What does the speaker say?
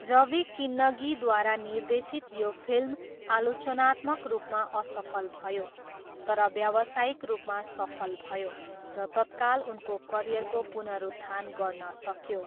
रवि किन्नगीद्वारा निर्देशित यो फिल्म आलोचनात्मक रूपमा असफल भयो, तर व्यवसायिक रूपमा सफल भयो र तत्काल उनको करियरको पुनरुत्थान गर्न सक्यो।